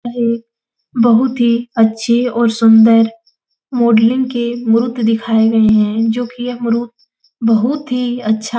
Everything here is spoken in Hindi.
यह एक बहोत ही अच्छी और सुंदर मॉडलिंग के मूर्त दिखाए गए हैं जो कि यह मूर्त बहोत ही अच्छा --